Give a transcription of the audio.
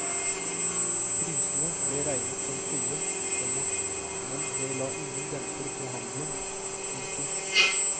Prisene ble regnet som høye, komma men det la ingen demper på handelen. punktum